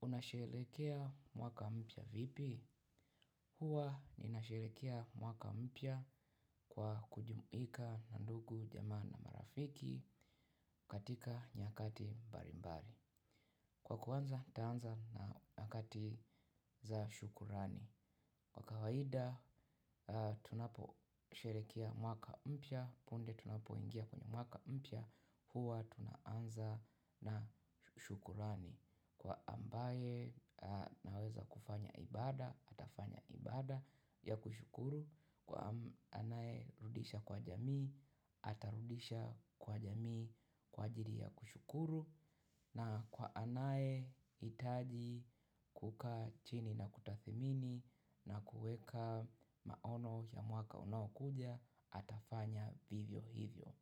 Unasherekea mwaka mpya vipi? Hua ninasherehekea mwaka mpya kwa kujumuika na ndugu jamaa na marafiki katika nyakati mbalimbali. Kwa kuanza nitaanza na nyakati za shukurani. Kwa kawaida tunaposherehekea mwaka mpya punde tunapoingia kwenye mwaka mpya hua tunaanza na shukrani. Kwa ambaye anaweza kufanya ibada, atafanya ibada ya kushukuru. Kwa anayerudisha kwa jamii, atarudisha kwa jamii kwa ajili ya kushukuru. Na kwa anayehitaji kukaa chini na kutathmini na kuweka maono ya mwaka unaokuja atafanya vivyo hivyo.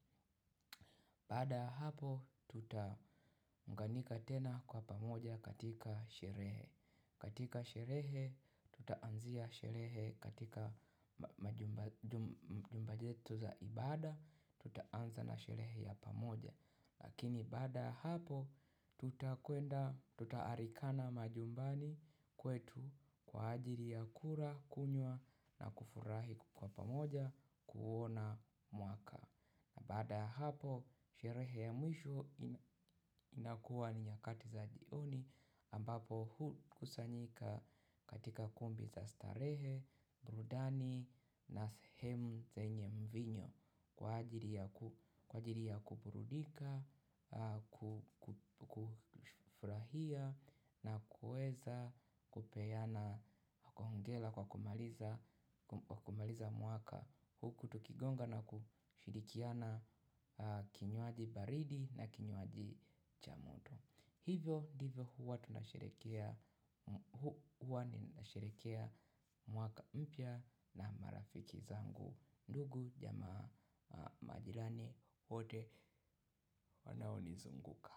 Baada ya hapo tutaunganika tena kwa pamoja katika sherehe. Katika sherehe tutaanzia sherehe katika majumba yetu za ibada tutaanza na sherehe ya pamoja. Lakini baada ya hapo tutaalikana majumbani kwetu kwa ajili ya kula, kunywa na kufurahi kwa pamoja kuona mwaka. Baada ya hapo, sherehe ya mwisho inakuwa ni nyakati za jioni ambapo hukusanyika katika kumbi za starehe, burudani na sehemu zenye mvinyo kwa ajili ya kuburudika, kufurahia na kuweza kupeana hongera kwa kumaliza mwaka. Huku tukigonga na kushirikiana kinywaji baridi na kinywaji cha moto. Hivyo ndivyo huwa tunasherehekea mwaka mpya na marafiki zangu. Ndugu jamaa majirani wote wanaonizunguka.